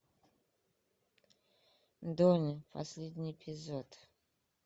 дони последний эпизод